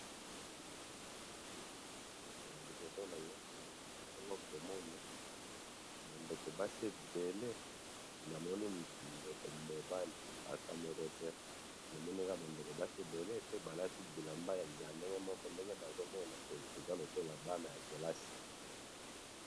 liboso nanga awa nazali bongo komona ba ndeko basi ebele namoni ndeko mobaliata moko tenamoni balati ba bilambe ya ndenge moko ndenge nazomona eza lokola baza bana kelasi